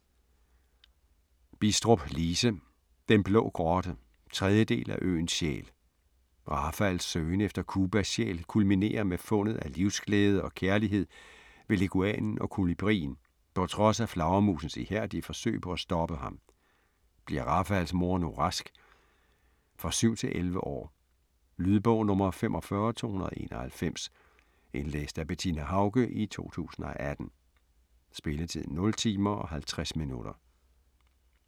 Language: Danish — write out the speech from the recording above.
Bidstrup, Lise: Den blå grotte 3. del af Øens sjæl. Rafaels søgen efter Cubas sjæl kulminerer med fundet af livsglæde og kærlighed ved leguanen og kolibrien, på trods af flagermusens ihærdige forsøg på at stoppe ham. Bliver Rafaels mor nu rask? For 7-11 år. Lydbog 45291 Indlæst af Bettina Haucke, 2018. Spilletid: 0 timer, 50 minutter.